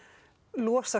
losa